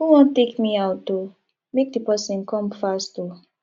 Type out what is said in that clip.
who wan take me out oo make the person come fast oo